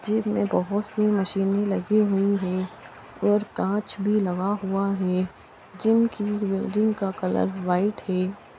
Gym में बहुत सी मशीने लगी हुई है और काच भी लगा हुआ है जिम की बिल्डिंग का कलर वाइट है।